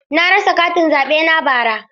Na rasa katin zaɓe na bara.